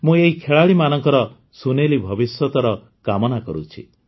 ମୁଁ ଏହି ଖେଳାଳିମାନଙ୍କର ସୁନେଲି ଭବିଷ୍ୟତର କାମନା କରୁଛି